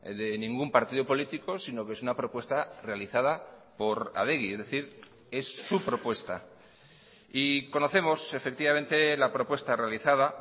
de ningún partido político sino que es una propuesta realizada por adegi es decir es su propuesta y conocemos efectivamente la propuesta realizada